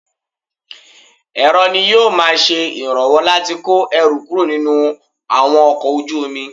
Èrọ ni ó máa ń ṣe ìrànwọ́ láti kọ́ ẹrù kúrò nínú àwọn ọkọ̀ ojú omi.